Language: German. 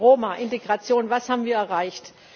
Roma, Integration Was haben wir erreicht?